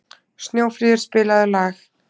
Snjófríður, spilaðu lag.